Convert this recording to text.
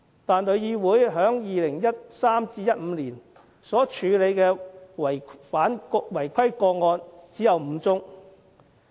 但是，旅議會在2013年至2015年所處理的違規個案只有5宗。